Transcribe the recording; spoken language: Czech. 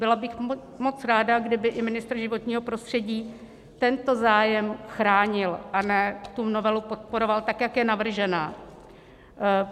Byla bych moc ráda, kdyby i ministr životního prostředí tento zájem chránil, a ne tu novelu podporoval tak, jak je navržená.